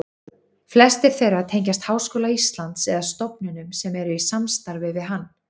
Flestir þeirra tengjast Háskóla Íslands eða stofnunum sem eru í samstarfi við hann.